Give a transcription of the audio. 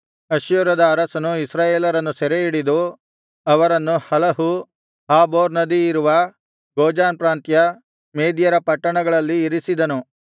ಅಶ್ಶೂರದ ಅರಸನು ಇಸ್ರಾಯೇಲರನ್ನು ಸೆರೆಹಿಡಿದು ಅವರನ್ನು ಹಲಹು ಹಾಬೋರ್ ನದಿಯಿರುವ ಗೋಜಾನ್ ಪ್ರಾಂತ್ಯ ಮೇದ್ಯರ ಪಟ್ಟಣಗಳಲ್ಲಿ ಇರಿಸಿದನು